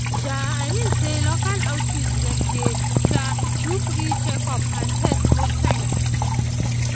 um i mean say local outreach dem dey um do free checkup and test most times.